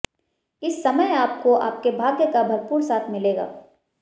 इस समय आपको आपके भाग्य का भरपूर साथ मिलेगा